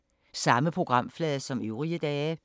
Samme programflade som øvrige dage